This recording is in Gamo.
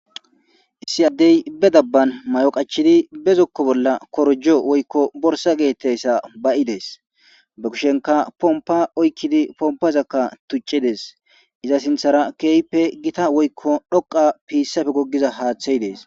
Issi adey be daban mayo qachidi be zokko bolla korojo woyko borsa getetizaysa ba'i des be kushenkka popqla oykidi popazakka tucides iza sinthara kehipe gita woyko dhoqa pisappe hathey des